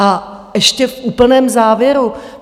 A ještě v úplném závěru.